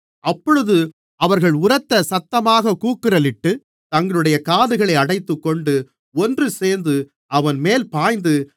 அப்பொழுது அவர்கள் உரத்த சத்தமாகக் கூக்குரலிட்டுத் தங்களுடைய காதுகளை அடைத்துக்கொண்டு ஒன்றுசேர்ந்து அவன்மேல் பாய்ந்து